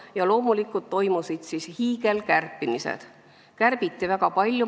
Ja loomulikult toimusid siis hiigelkärped, kärbiti väga palju.